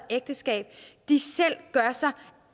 ægteskab selv gør sig